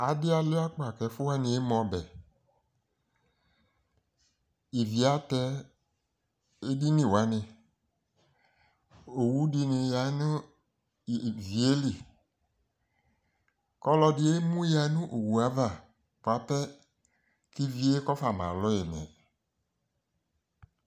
Adɩ alua kpata k'ɛfʋwanɩ eme ɔbɛ Ivi atɛ ediniwanɩ Oeudɩnɩ ya nʋ ivi yɛ li k'ɔlɔdɩ emuya nʋ owu yɛ ava bua pɛ k'ivi yɛ kɔfama lu yi mɛ